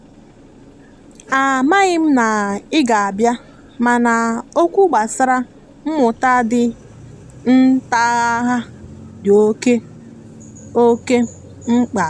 a amaghim na ị ga a bịa mana oķwụ gbasara mmụta di nghatangha di oke oke mgba.